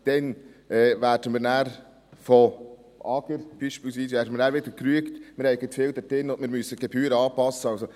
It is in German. – Dann werden wir wieder, beispielsweise vom AGR, gerügt, dass wir zu viel drin haben und wir die Gebühren anpassen müssen.